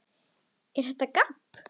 ER ÞETTA GABB?